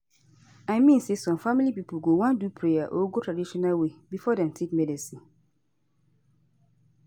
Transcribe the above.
i mean say some family pipo go wan do prayer or go traditional way before dem take medicine